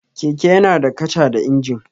Keke yana da kaca da injin.